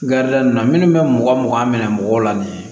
Garida ninnu na minnu bɛ mɔgɔ mugan minɛ mɔgɔw la nin ye